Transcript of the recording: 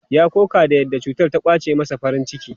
Ya koka da yadda cutar ta ƙwace masa farin ciki.